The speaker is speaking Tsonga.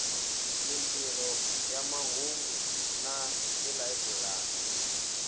mintirho ya mahungu na tilayiburari